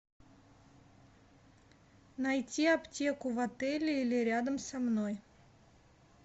найти аптеку в отеле или рядом со мной